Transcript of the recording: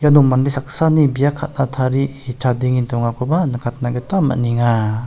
no mande saksani bia ka·na tarie chadenge dongakoba nikatna gita man·enga.